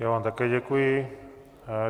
Já vám také děkuji.